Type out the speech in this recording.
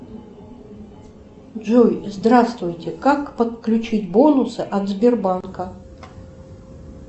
джой здравствуйте как подключить бонусы от сбербанка